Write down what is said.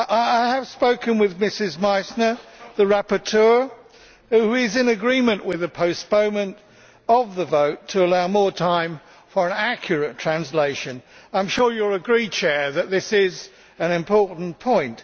I have spoken with Ms Meissner, the rapporteur, who is in agreement with a postponement of the vote to allow more time for an accurate translation. I am sure you will agree that this is an important point.